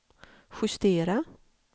justera